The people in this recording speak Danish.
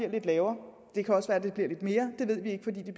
det lavere det kan også være at det bliver lidt mere det ved vi ikke fordi det